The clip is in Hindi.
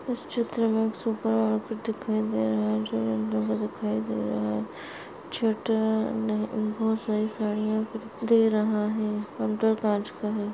इस चित्र मे एक सुपर मार्केट दिखाई दे रहा है चित्र मे बहुत सारी साडिया दे रहा है। काउंटर कांच का है।